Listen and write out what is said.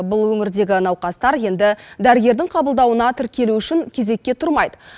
бұл өңірдегі науқастар енді дәрігердің қабылдауына тіркелу үшін кезекке тұрмайды